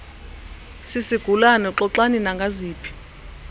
sisigulana xoxani nangaziphi